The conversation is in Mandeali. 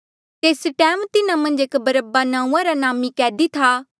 तेस टैम तिन्हा मन्झ एक बरअब्बा नांऊँआं रा नामी कैदी था